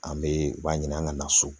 An be u b'a ɲini an ka na so